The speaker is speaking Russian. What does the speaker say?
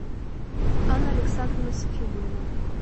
анна александровна сафиулина